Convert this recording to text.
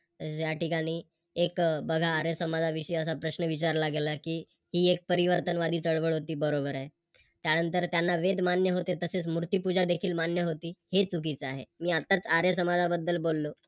या ठिकाणी एक बघा आर्य समाजाविषयी असा प्रश्न विचारला गेला की ती एक परिवर्तनवादी चळवळ होती बरोबर आहे. त्यानंतर त्यांना वेद मान्य होते तसेच मूर्तिपूजा देखील मान्य होती हे चुकीचे आहे. मी आताच आर्य समाजाबद्दल बोललो